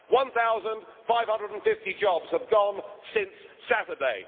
One thousand, five hundred and fifty jobs have gone since Saturday